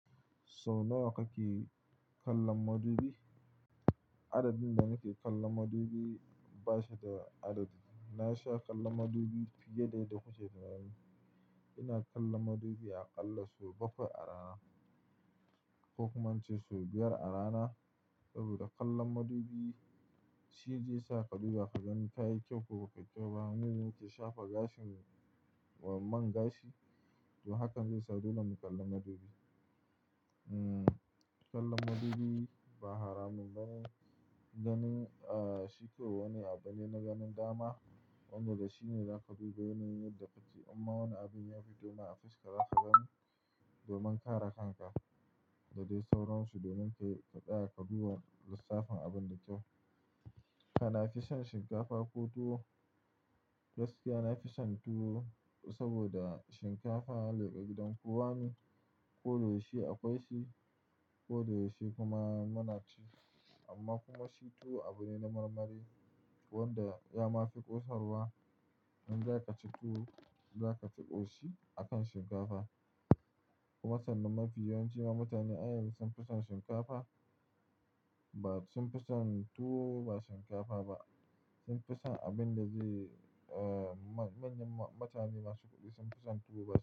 Sau nawa kake kallon madubi? Adadin da nake kallon madubi ba shi da adadi. Na sha kallon madubi fiye da ya dace da ni. Ina kallon madubi aƙalla sau bakwai a rana ko kuma in ce sau biyar a rana. Saboda kallon madubi shine zai sa ka dubba ka gani ka yi kyau ko ka fi kyau. Hanyar da muke shafa gashin man gashi, to hakan zai sa dole mu kalli madubi. Hmm, kallon madubi ba haramun bane dan aa shi ko wani abu ne na ganin dama wanda shine zaka bi bayan yin yarda da shi. Amma wani abin ya fito ma a fes ka, za ka gani domin kara kanka da dai sauransu domin ka ɗaya ka bi lissafin abin da kyau. Kana fison shinkafa ko tuwo? Gaskiya nafi son tuwo saboda shinkafa leka gidan kowa ne. Ko da yaushe akwai shi ko da yaushe kuma munaci. Amma kuma shi tuwo abu ne na marmari wanda ya ma fi ƙosarwa. In za ka ci tuwo, za ka ci ƙoshi a kan shinkafa. Kuma sannan mafi yawancin mutanen ayan sun fi son shinkafa ba sun fi son tuwo ba shinkafa ba. Sun fi son abin da zai aa manyan mutane masu kuɗi sun fi son tuwo ba.